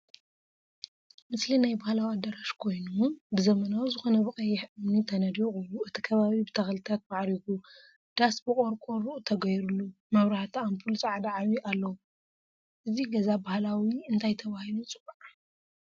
ምስሊ ናይ ባህላዊ አዳራሽ ኮይኑ ብ ዘመናዊ ዝኮነ ብቀይሕ እምኒ ተነዲቁ እቲ ከባቢ ብተክልታት ማዕሪጉ ዳስ ብቆርቆሮ ተገይሩሉ መብራህቲ ኣምፑል ፃዕዳ ዓብይ ኣለዎ። እዚ ገዛ ባህላዊ እንታይ ተባሂሉ ይፅዋዕ?